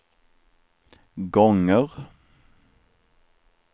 gånger